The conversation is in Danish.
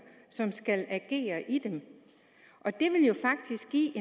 som skal agere i dem det vil jo faktisk give